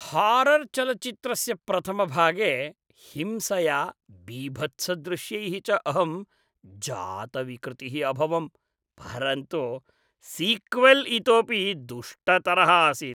हारर्चलच्चित्रस्य प्रथमभागे हिंसया बीभत्सदृश्यैः च अहं जातविकृतिः अभवं, परन्तु सीक्वल् इतोऽपि दुष्टतरः आसीत्।